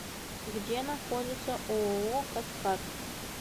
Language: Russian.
где находится ооо каскад